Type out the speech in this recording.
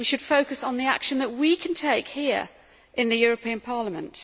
We should focus on the action that we can take here in the European Parliament.